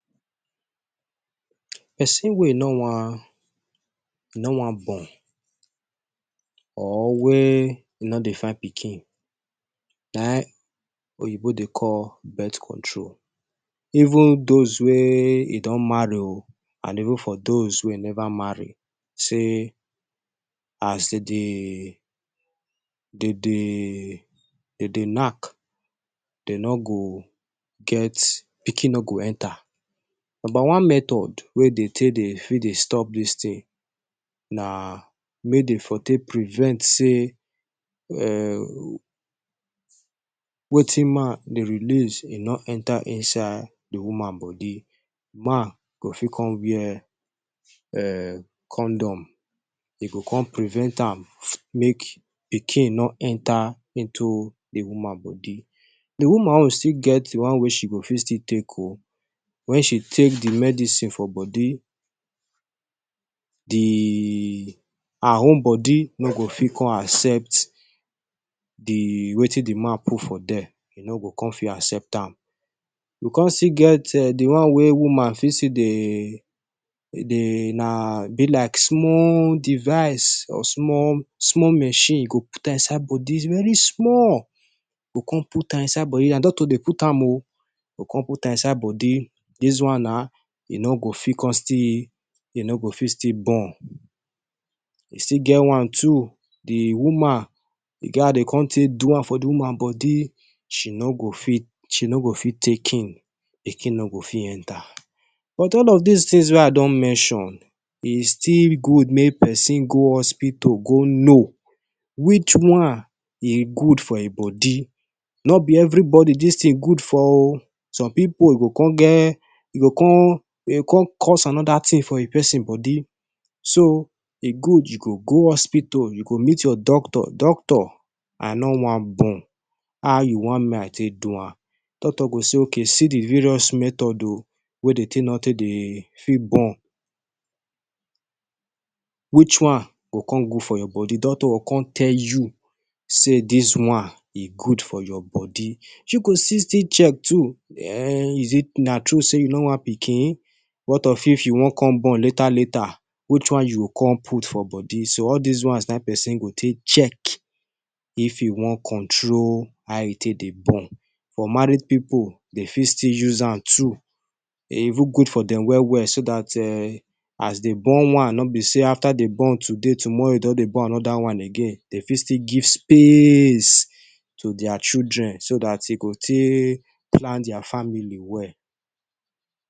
Persin wey e no wan, e no wan born, or wey e no dey find pikin. Na him oyinbo dey call birth control. Even those wey e don marry oh and even for those wey never marry. Say, as de dey, de dey, de dey knack, dem no go get, pikin no go enter. Number one method We dey take Dey stop dis tin, na make Dey for take prevent say um Wetin man dey release e no enter inside d woman body. Man go fit con wear eeh condom. E go con prevent am make pikin no enter into d woman body. D woman own still get d one we she go fit still take o wen she take d medicine for body, Di her own body no go fit con accept the wetin d man put for there. E No go kon fit accept an. E kon still get di one way woman fit still dey, dey na, e be like small device or small machine you go put inside body. E Dey very small. You con put inside body na doctor Dey put am o. You con put inside body. Dis one na, e no go fit con still, e no go fit still born. E still get one too, d woman, e get how Dey con take do am for d woman body, she no go fit, she no go fit take in. Pikin no go fit enter. But all of these things wey I don mention, e still good make persin go hospital go know which one e good for hin body no b every body dis tin good for o some pipu own e go con get, e go con,e go con cause anoda tin for di person body so e good u go go hospital u go meet your doctor, doctor I no wan born how u wan make I take do am, doctor go say okay see d various method o Wey Dey take no Dey fit born. Which one go con good for your body, Doctor go con tell you, say this one e good for your body. You go still still check too um is it, na tru say you no want pikin, What of if you wan con born later later, Which one you go con put for body, So all this one na hin person go take check. If e wan control how e take Dey born. For married people, them fit still use an too. E even good for dem well well so that um as dem born one, no be say after they born today, tomorrow don they born another one again. Dey fit still give space to their children so that they go take plan their family well.